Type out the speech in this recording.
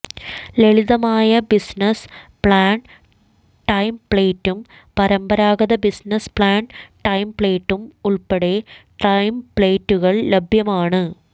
ലളിതമായ business plan ടെംപ്ലേറ്റും പരമ്പരാഗത ബിസിനസ്സ് പ്ലാൻ ടെംപ്ലേറ്റും ഉൾപ്പെടെ ടെംപ്ലേറ്റുകൾ ലഭ്യമാണ്